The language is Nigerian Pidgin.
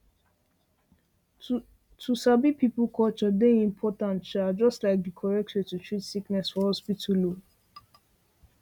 um to sabi people culture dey important um just like di correct way to treat sickness for hospital um